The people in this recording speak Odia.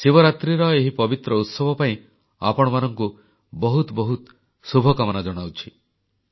ଶିବରାତ୍ରୀର ଏହି ପବିତ୍ର ଉତ୍ସବ ପାଇଁ ଆପଣମାନଙ୍କୁ ବହୁତ ବହୁତ ଶୁଭକାମନା ଜଣାଉଛି